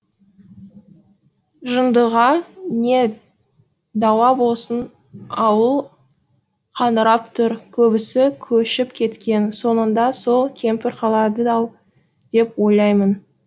жындыға не дауа болсын ауыл қаңырап тұр көбісі көшіп кеткен соңында сол кемпір қалады ау деп ойлаймын